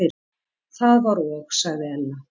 Það var og sagði Ella.